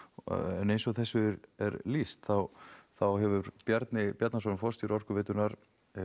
en eins og þessu er lýst þá hefur Bjarni Bjarnason forstjóri Orkuveitunnar